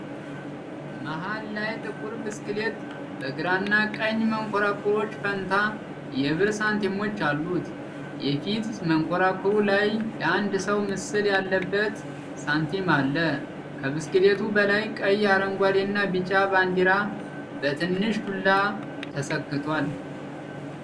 መሀል ላይ ጥቁር ብስክሌት በግራና ቀኝ መንኮራኩሮች ፈንታ የብር ሳንቲሞች አሉት። የፊት መንኮራኩሩ ላይ የአንድ ሰው ምስል ያለበት ሳንቲም አለ። ከብስክሌቱ በላይ ቀይ፣ አረንጓዴና ቢጫ ባንዲራ በትንሽ ዱላ ተሰክቷል።